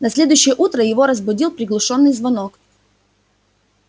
на следующее утро его разбудил приглушённый звонок